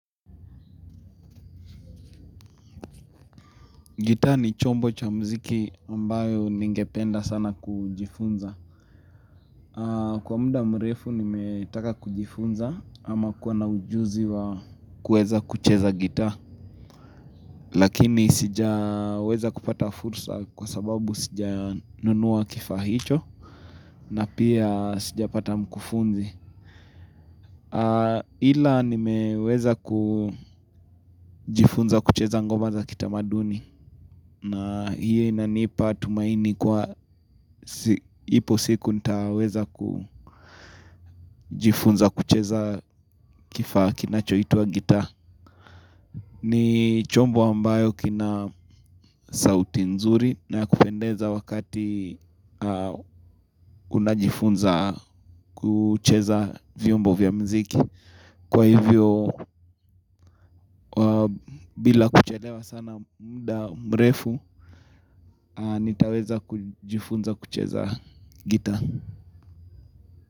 Gitaa ni chombo cha mziki ambayo ningependa sana kujifunza. Kwa muda mrefu nimetaka kujifunza ama kuwa na ujuzi wa kuweza kucheza gitaa. Lakini sija weza kupata fursa kwa sababu sija nunua kifaa hicho na pia sija pata mkufunzi. Ila nimeweza kujifunza kucheza ngoma za kitamaduni. Na hiyo inanipa tumaini kuwa ipo siku ntaweza kujifunza kucheza kifaa kinachoitwa gitaa ni chombo ambayo kina sauti nzuri na ya kupendeza wakati unajifunza kucheza vyombo vya muziki Kwa hivyo bila kuchelewa sana muda mrefu nitaweza kujifunza kucheza gita.